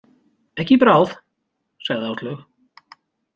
Ekki í bráð, sagði Áslaug.